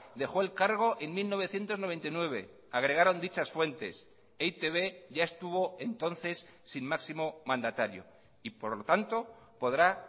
dejó el cargo en mil novecientos noventa y nueve agregaron dichas fuentes e i te be ya estuvo entonces sin máximo mandatario y por lo tanto podrá